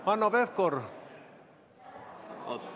Hanno Pevkur!